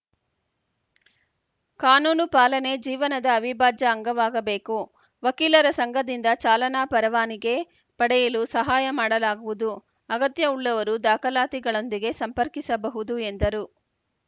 ಕಾನೂನು ಪಾಲನೆ ಜೀವನದ ಅವಿಭಾಜ್ಯ ಅಂಗವಾಗಬೇಕು ವಕೀಲರ ಸಂಘದಿಂದ ಚಾಲನಾ ಪರವಾನಿಗೆ ಪಡೆಯಲು ಸಹಾಯ ಮಾಡಲಾಗುವುದು ಅಗತ್ಯವುಳ್ಳವರು ದಾಖಲಾತಿಗಳೊಂದಿಗೆ ಸಂಪರ್ಕಿಸಬಹುದು ಎಂದರು